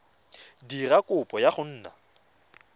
dira kopo ya go nna